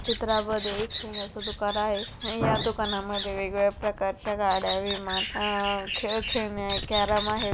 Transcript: चित्रामध्ये एक खेळण्याचं दुकान आहे या दुकानामध्ये वेगवेगळ्या प्रकारच्या गाड्या विमान अह खेळ खेळण्या कॅरम आहे.